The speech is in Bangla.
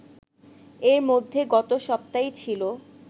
এর মধ্যে গত সপ্তায়ই ছিল